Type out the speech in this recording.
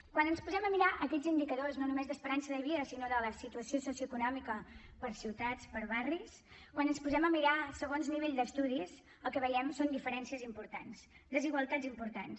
quan ens posem a mirar aquests indicadors no només d’esperança de vida sinó de la situació socioeconòmica per ciutats per barris quan ens els posem a mirar segons el nivell d’estudis el que hi veiem són diferències importants desigualtats importants